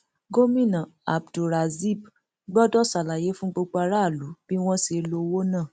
gomina abdulrazib gbọdọ ṣàlàyé fún gbogbo aráàlú bí wọn ṣe lo owó náà